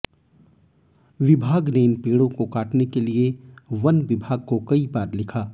विभाग ने इन पेड़ों को काटने के लिए वन विभाग को कई बार लिखा